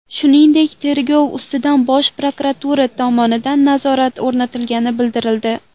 Shuningdek, tergov ustidan Bosh prokuratura tomonidan nazorat o‘rnatilgani bildirildi.